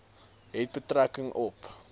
het betrekking op